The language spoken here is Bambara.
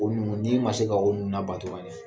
O nunnu n'i ma se k'a olu labato